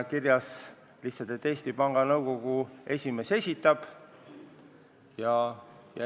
Kirjas on lihtsalt, et Eesti Panga Nõukogu esimees esitab kandidaadid.